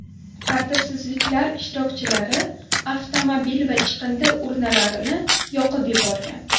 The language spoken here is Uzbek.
Tartibsizliklar ishtirokchilari avtomobil va chiqindi urnalarini yoqib yuborgan.